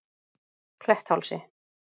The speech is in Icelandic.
Kletthálsi